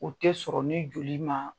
U tɛ sɔrɔ ni joli ma